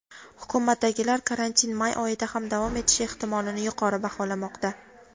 Hukumatdagilar karantin may oyida ham davom etishi ehtimolini yuqori baholamoqda.